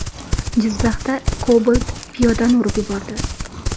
Jizzaxda Cobalt piyodani urib yubordi.